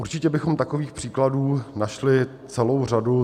Určitě bychom takových příkladů našli celou řadu.